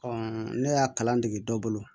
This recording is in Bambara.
ne y'a kalan dege dɔ bolo